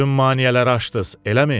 Bütün maneələri aşdız, eləmi?